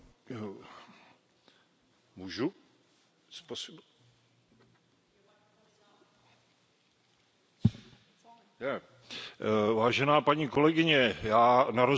Vážená paní kolegyně, já na rozdíl od Vás jsem likvidoval lýkožrouta smrkového a vidím, co se s Šumavou stalo, jezdil jsem tam.